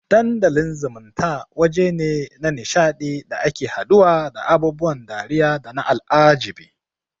Dandalin zumunta wajene na nisha ɗi da ake haduwa da abubuwan dariya dana al'ajabi